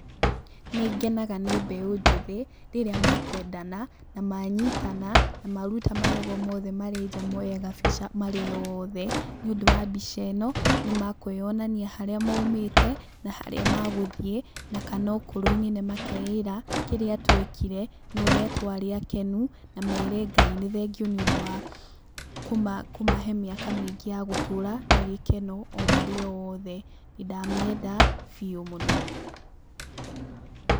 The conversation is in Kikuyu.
Nĩngenaga nĩ mbeũ njĩthĩ, rĩrĩa makwendana, na manyitana, na maruta magego mothe marĩ nja moye gabica marĩ oothe. Nĩũndũ wa mbica ĩno nĩ makwĩonania harĩa maumĩte, na harĩa magũthiĩ, na kana ũkũrũ-inĩ nĩ makeĩra, kĩrĩa twekire, na ũrĩa twarĩ akenu, na mere Ngai nĩ thengiũ nĩũndũ wa kũmahe mĩaka mĩingĩ ya gũtũra na gĩkeno, o marĩ othe. Nĩndamĩenda, biũ mũno.